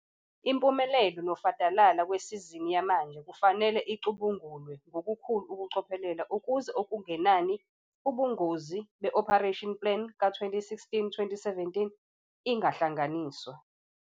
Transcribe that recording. Impumelelo nofadalala kwesizini yamanje kufanele icubungulwe ngokukhulu ukucophelela ukuze okungenani ubungozi be-operating plan ka-2016, 2017 ingahlanganiswa.